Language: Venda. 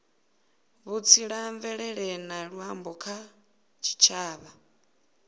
vhutsila mvelele na luambo kha tshitshavha